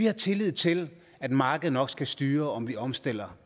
har tillid til at markedet nok skal styre om vi omstiller